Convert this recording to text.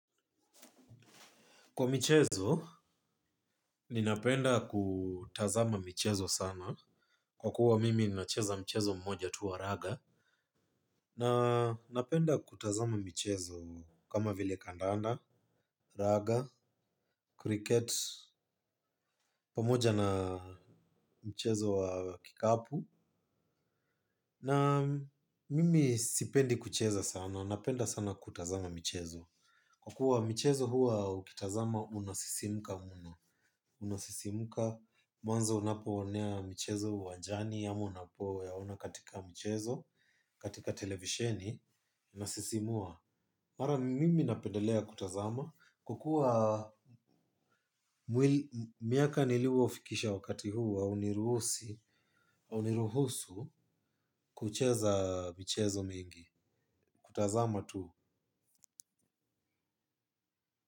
Kwa michezo, ninapenda kutazama michezo sana. Kwa kuwa mimi nacheza mchezo mmoja tu wa raga. Na napenda kutazama michezo kama vile kandanda, raga, kriket, pamoja na mchezo wa kikapu. Na mimi sipendi kucheza sana. Napenda sana kutazama michezo. Kwa kuwa michezo huwa ukitazama unasisimuka mno. Unasisimka mwanzo unapoonea mchezo wajani ama unapoyaona katika mchezo, katika televisheni Unasisimua. Mara mimi napendelea kutazama. Kwakuwa miaka nilio fikisha wakati huu hauniruhusu kucheza michezo mingi. Kutazama tu.